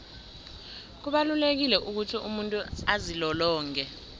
kubalulekile ukuthi umuntu azilolonge